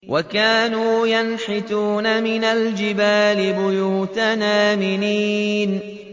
وَكَانُوا يَنْحِتُونَ مِنَ الْجِبَالِ بُيُوتًا آمِنِينَ